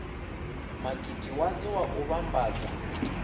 makete wadzo wa u vhambadza